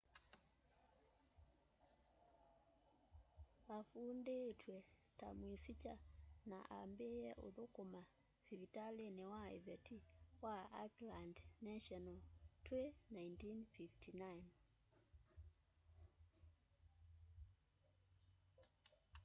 afundiitw'e ta mwisikya na ambiie uthuma sivitalini wa iveti wa auckland national twi 1959